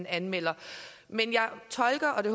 anmelder men jeg tolker det